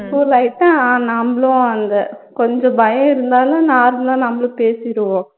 நம்பளும் அந்த கொஞ்ச பயம் இருந்தாலும் normal ஆ நம்மளும் பேசிருவோம்